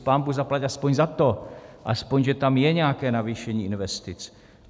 Pánbůh zaplať aspoň za to, aspoň že tam je nějaké navýšení investic.